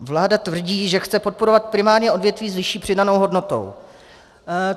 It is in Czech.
Vláda tvrdí, že chce podporovat primárně odvětví s vyšší přidanou hodnotou.